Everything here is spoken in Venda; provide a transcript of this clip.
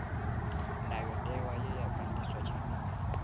ndayotewa ye ya ganḓiswa tshifhingani